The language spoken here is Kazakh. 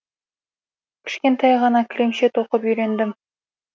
кішкентай ғана кілемше тоқып үйрендім